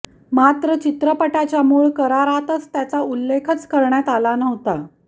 मात्र चित्रपटाच्या मूळ करारात त्याचा उल्लेखच करण्यात आला नव्हता